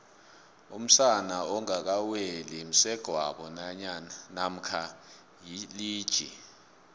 umsana ongaka weli msegwabo mamkha yilija